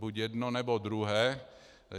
Buď jedno, nebo druhé.